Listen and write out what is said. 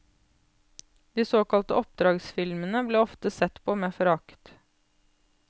De såkalte oppdragsfilmene ble ofte sett på med forakt.